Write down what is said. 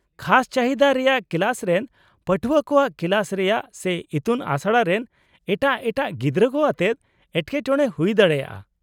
-ᱠᱷᱟᱥ ᱪᱟᱹᱦᱤᱫᱟ ᱨᱮᱭᱟᱜ ᱠᱞᱟᱥ ᱨᱮᱱ ᱯᱟᱹᱴᱷᱩᱣᱟᱹ ᱠᱚᱣᱟᱜ ᱠᱞᱟᱥ ᱨᱮᱭᱟᱜ ᱥᱮ ᱤᱛᱩᱱ ᱟᱥᱲᱟ ᱨᱮᱱ ᱮᱴᱟᱜ ᱮᱴᱟᱜ ᱜᱤᱫᱽᱨᱟᱹ ᱠᱚ ᱟᱛᱮᱫ ᱮᱴᱠᱮᱴᱚᱬᱮ ᱦᱩᱭ ᱫᱟᱲᱮᱭᱟᱜᱼᱟ ᱾